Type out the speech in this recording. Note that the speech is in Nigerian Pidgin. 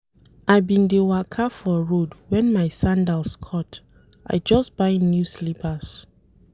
I bin dey waka for road wen my sandals cut, I just buy new slippers.